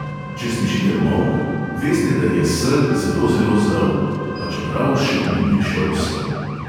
Če slišite molk, veste, da je sel zelo zelo zel, pa čeprav še ni prišel sem.